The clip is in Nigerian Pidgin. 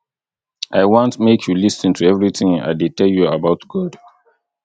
i want make you lis ten to everything i dey tell you about god